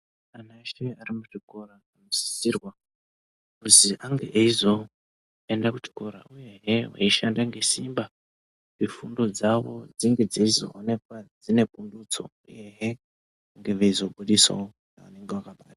Anhu eshe ari muzvikora anosisirwa kuzi ange eyizoenda kuchikora, uyehe veyishanda ngesimba kuti fundo dzavo dzinge dzeizoonekwa dzine pundutso, uyehe vange vaizobusisawo vanenge vakaba..